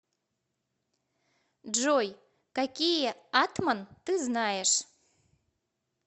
джой какие атман ты знаешь